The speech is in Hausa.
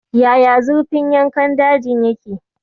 Yaya zurfin yankan daji yake?